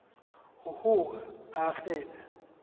uhlu a nohlu